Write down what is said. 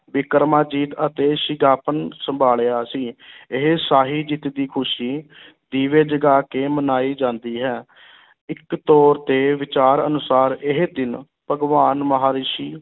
ਬਿਕਰਾਮਾਜੀਤ ਅਤੇ ਸਿੰਘਾਸਨ ਸੰਭਾਲਿਆ ਸੀ ਇਹ ਸ਼ਾਹੀ ਜਿੱਤ ਦੀ ਖ਼ੁਸ਼ੀ ਦੀਵੇ ਜਗਾ ਕੇ ਮਨਾਈ ਜਾਂਦੀ ਹੈ ਇੱਕ ਤੌਰ ਤੇ ਵਿਚਾਰ ਅਨੁਸਾਰ ਇਹ ਦਿਨ ਭਗਵਾਨ ਮਹਾਂਰਿਸ਼ੀ